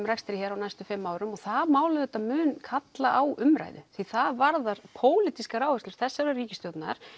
rekstri hér á næstu fimm árum og það mál auðvitað mun kalla á umræðu því það varðar pólitískar áherslur þessarar ríkisstjórnar